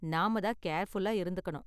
நாம தான் கேர்ஃபுல்லா இருந்துக்கணும்.